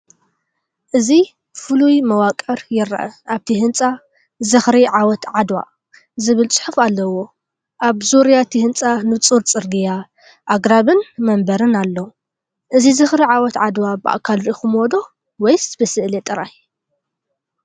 እዚ ፍሉይ መዋቕር ይርአ። ኣብቲ ህንጻ “ዝኽሪ ዓወት ዓድዋ” ዝብል ጽሑፍ ኣለዎ። ኣብ ዙርያ እቲ ህንጻ ንጹር ጽርግያ፡ ኣግራብን መንበርን ኣሎ። እዚ ዝኽሪ ዓወት ዓድዋ ብኣካል ርኢኹሞ ዶ? ወይስ ብስእሊ ጥራይ ?